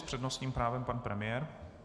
S přednostním právem pan premiér.